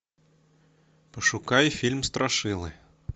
пошукай фильм страшилы